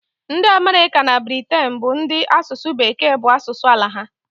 Ndị Amerịka na Briten bụ ndị asụsụ Bekee bụ asụsụ ala ha.